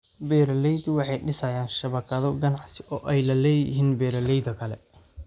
Beeraleydu waxay dhisayaan shabakado ganacsi oo ay la leeyihiin beeralayda kale.